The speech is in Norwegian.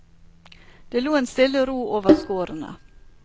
Det lå en stille ro over skårene.